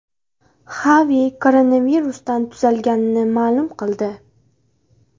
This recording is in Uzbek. Xavi koronavirusdan tuzalganini ma’lum qildi.